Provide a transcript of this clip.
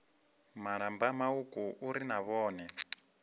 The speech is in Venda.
malamba mauku uri na vhone